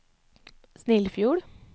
Snillfjord